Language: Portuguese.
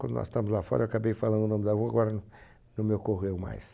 Quando nós estávamos lá fora, eu acabei falando o nome da rua, agora não não me ocorreu mais.